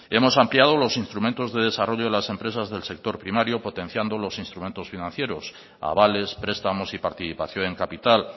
hemos ampliado los instrumentos de desarrollo de las empresas del sector primario potenciando los instrumentos financieros avales prestamos y participación en capital